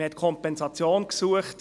Man hat die Kompensation gesucht.